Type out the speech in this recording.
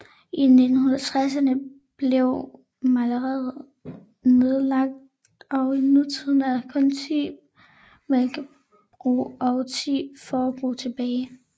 I 1960erne blev mejeriet nedlagt og i nutiden er der kun 10 mælkebrug og 10 fårebrug tilbage